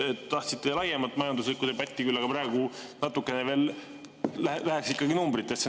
Tahtsite küll laiemalt majanduslikku debatti, aga praegu ehk läheksime natukene ikkagi veel numbritesse.